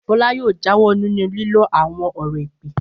Fọlá yóò jáwọ́ nínú lílo àwọn ọ̀rọ̀ èpè!